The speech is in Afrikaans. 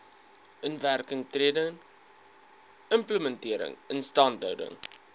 inwerkingtreding implementering instandhouding